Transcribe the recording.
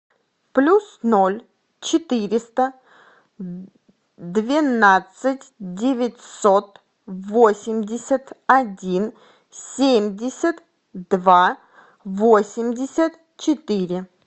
плюс ноль четыреста двенадцать девятьсот восемьдесят один семьдесят два восемьдесят четыре